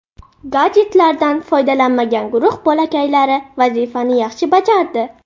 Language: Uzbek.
Gadjetlardan foydalanmagan guruh bolakaylari vazifani yaxshi bajardi.